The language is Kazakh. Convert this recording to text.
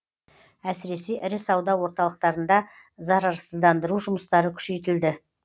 әсіресе ірі сауда орталықтарында зарарсыздандыру жұмыстары күшейтілді